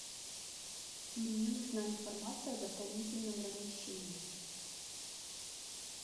мне нужна информация о дополнительном размещении